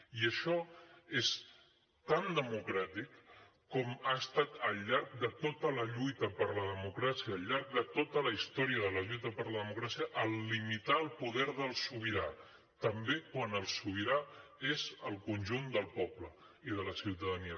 i això és tan democràtic com ha estat al llarg de tota la lluita per la democràcia al llarg de tota la història de la lluita per la democràcia limitar el poder del sobirà també quan el sobirà és el conjunt del poble i de la ciutadania